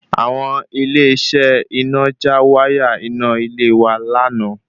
Àwọn Ilé iṣẹ iná já wáyà iná ilé wa lánàá